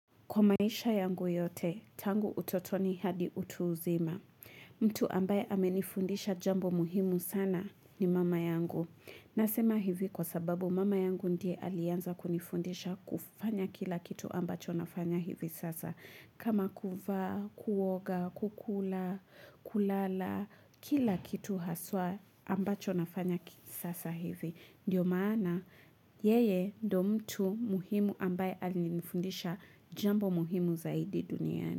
Kwa maisha yangu yote, tangu utotoni hadi utu uzima. Mtu ambaye amenifundisha jambo muhimu sana ni mama yangu. Nasema hivi kwa sababu mama yangu ndiye aliyeanza kunifundisha kufanya kila kitu ambacho nafanya hivi sasa. Kama kuvaa, kuoga, kukula, kulala, kila kitu haswa ambacho nafanya sasa hivi. Ndiyo maana yeye ndio mtu muhimu ambaye alinifundisha jambo muhimu zaidi duniani.